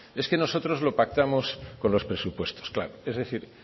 es que nosotros lo pactamos con los presupuestos claro es decir